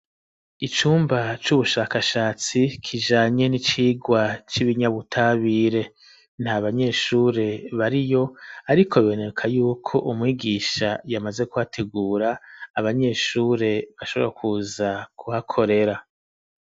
Icumba c'ubushakashatsi, kijanye n'icigwa c'ibinyabutabire; nta banyeshure bariyo ariko biboneka y'uko umwigisha yamaze kuhategura, abanyeshure bashobora kuza kuhakorera.